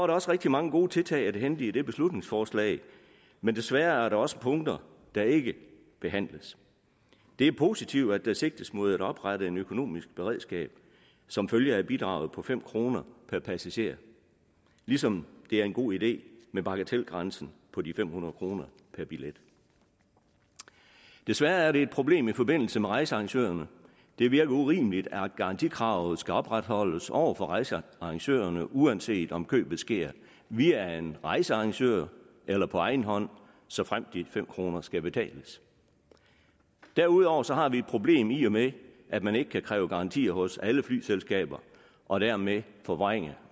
der også rigtig mange gode tiltag at hente i dette beslutningsforslag men desværre er der også punkter der ikke behandles det er positivt at der sigtes mod at oprette et økonomisk beredskab som følge af et bidrag på fem kroner per passager ligesom det er en god idé med bagatelgrænsen på de fem hundrede kroner per billet desværre er det et problem i forbindelse med rejsearrangørerne det virker urimeligt at garantikravet skal opretholdes over for rejsearrangørerne uanset om købet sker via en rejsearrangør eller på egen hånd såfremt de fem kroner skal betales derudover har vi et problem i og med at man ikke kan kræve garantier hos alle flyselskaber og dermed forvrænge